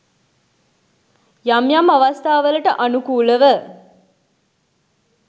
යම් යම් අවස්ථාවලට අනුකූලව